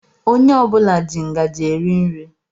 Ònye ọbula jị ngaji eri nri.